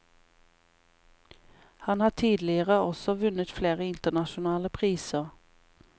Han har tidligere også vunnet flere internasjonale priser.